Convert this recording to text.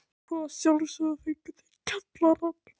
Svo að sjálfsögðu fengu þau kjallarann.